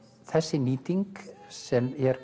þessi nýting sem er